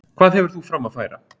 Hvað hefur þú fram að færa?